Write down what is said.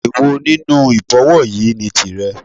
Èwo nínú Ìbọ̀wọ́ yìí ni tìrẹ